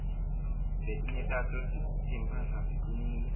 letinye tato timphahla ticinile